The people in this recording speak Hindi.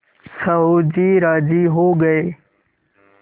साहु जी राजी हो गये